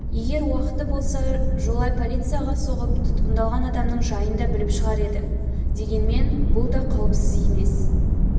егер уақыты болса жолай полицияға соғып тұтқындалған адамның жайын да біліп шығар еді дегенмен бұл да қауіпсіз емес